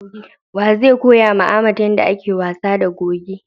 Wa zai koyawa Ahmed yadda ake wasa da goge?